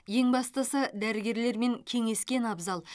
ең бастысы дәрігерлермен кеңескен абзал